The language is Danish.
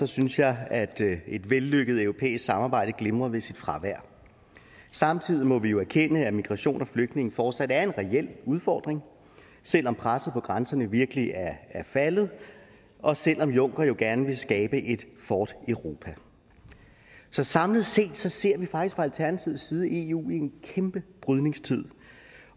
synes jeg at et vellykket europæisk samarbejde glimrer ved sit fravær samtidig må vi jo erkende at migration og flygtninge fortsat er en reel udfordring selv om presset på grænserne virkelig er faldet og selv om juncker jo gerne vil skabe et fort europa så samlet set ser vi faktisk fra alternativets side eu i en kæmpe brydningstid